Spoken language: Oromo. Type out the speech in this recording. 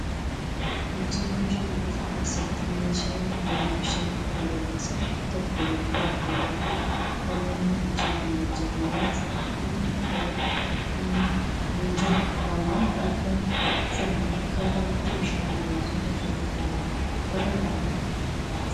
Hojii oomisha biqiltuu keessatti meeshaan ittiin bishaan ittiin obaasan tokko jira. Bakka hedduutti namoonni hojii kana hojjetan isatti dhimma bahatu. Inni hinjiru taanaan biqiltuu sana akka ta'utti bishaan obaasuun ulfaataa ta'a jechuudha.